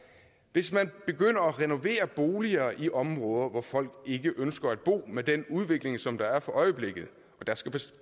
hvis man begynder at renovere boliger i områder hvor folk ikke ønsker at bo med den udvikling som der er for øjeblikket